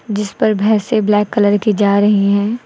जिस पर भैंसे ब्लैक कलर की जा रही हैं।